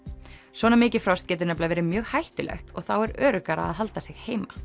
svona mikið frost getur nefnilega verið mjög hættulegt og þá er öruggara að halda sig heima